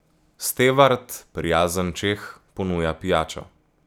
Stevard, prijazen Čeh, ponuja pijačo.